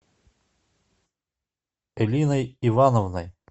элиной ивановной